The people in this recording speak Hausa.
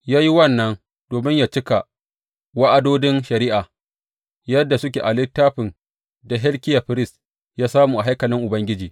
Ya yi wannan domin yă cika wa’adodin shari’a yadda suke a littafin da Hilkiya firist ya samu a haikalin Ubangiji.